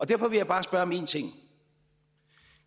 derfor vil jeg bare spørge om en ting